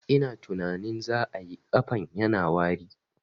Ina tunanin za ayi, ƙafan yana wari